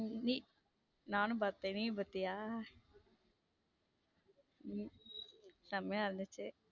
நீ நானும் பாத்துட்டேன் நீயும் பாத்திய உம் செம்மையா இருந்துச்சு.